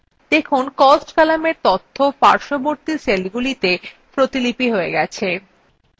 দেখুন cost কলামের তথ্য পার্শ্ববর্তী সেলগুলিতে copied হয়ে গেছে